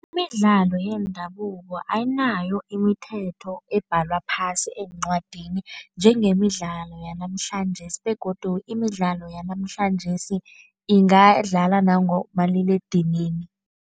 Imidlalo yendabuko ayinayo imithetho ebhalwa phasi eencwadini njengemidlalo yanamhlanjesi begodu imidlalo yanamhlanjesi ingadlala nangomaliledinini.